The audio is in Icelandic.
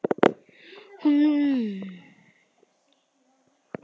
Hún varð að hlaupa.